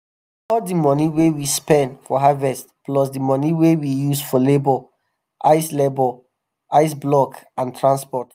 we dey record di moni wey we spend for harvest plus di moni wey we use for labor ice labor ice block and transport.